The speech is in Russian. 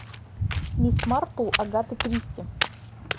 мисс марпл агаты кристи